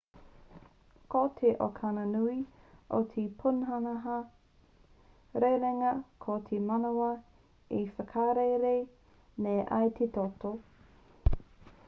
ko te okana nui o te pūnaha rerenga ko te manawa e whakarere nei i te toto